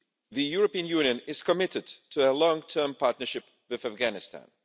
The European Union is committed to a long term partnership with Afghanistan.